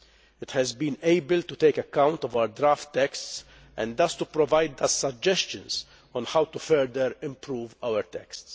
It has been able to take account of our draft texts and thus to provide us suggestions on how to further improve our texts.